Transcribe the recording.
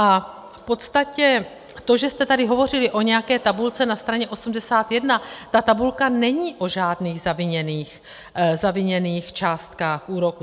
A v podstatě to, že jste tady hovořili o nějaké tabulce na straně 81, ta tabulka není o žádných zaviněných částkách úroku.